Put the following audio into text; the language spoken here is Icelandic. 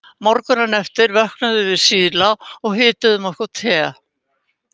Morguninn eftir vöknuðum við síðla og hituðum okkur te.